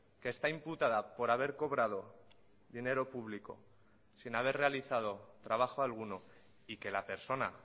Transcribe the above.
que está imputada por haber cobrado dinero público sin haber realizado trabajo alguno y que la persona